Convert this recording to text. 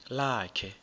lakhe